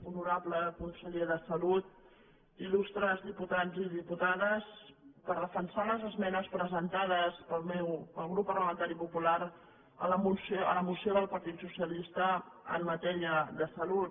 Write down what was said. honorable conseller de salut il·lustres diputats i diputades per defensar les esmenes presentades pel grup parlamen·tari popular a la moció del partit socialista en matèria de salut